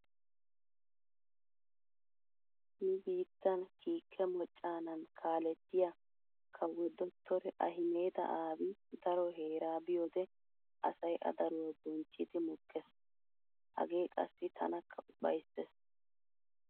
Nu biittan kiike mocanan kaalettiya kawo dottore Ahimeda Aabi daro heera biyode asay a daruwa bonchchiiddi mokkees. Hagee qassi tanakka ufayssees.